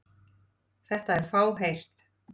Þetta er fáheyrt.